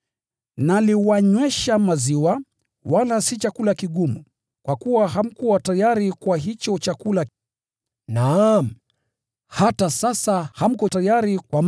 Naliwanywesha maziwa, wala si chakula kigumu, kwa kuwa hamkuwa tayari kwa hicho chakula. Naam, hata sasa hamko tayari.